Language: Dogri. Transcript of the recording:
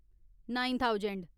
nine thousand